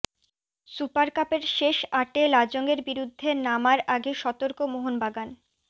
super কাপের শেষ আটে লাজংয়ের বিরুদ্ধে নামার আগে সতর্ক মোহনবাগান